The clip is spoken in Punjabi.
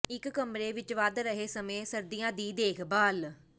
ਇੱਕ ਕਮਰੇ ਵਿੱਚ ਵਧ ਰਹੇ ਸਮੇਂ ਸਰਦੀਆਂ ਦੀ ਦੇਖਭਾਲ